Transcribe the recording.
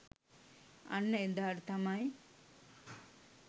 අන්න එදාට තමයි